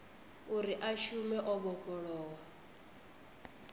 uri a shume o vhofholowa